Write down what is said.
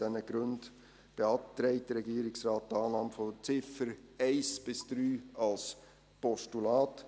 Aus diesen Gründen beantragt der Regierungsrat die Annahme der Ziffern 1–3 als Postulat.